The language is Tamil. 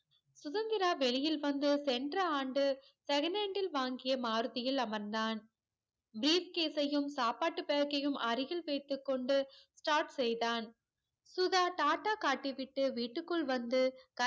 சுதந்திரா வெளியில் வந்து சென்ற ஆண்டு seconal யில் வாங்கிய maruti யில் அமர்ந்தான் brief case யும் சாப்பாட்டு back கையும் அருகில் வைத்து கொண்டு start செய்தான் சுதா டா டா காட்டிவிட்டு விட்டுக்குள் வந்து